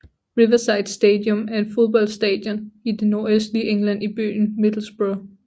Riverside Stadium er et fodboldstadion i det nordøslige England i byen Middlesbrough